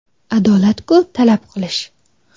Adolat-ku talab qilish.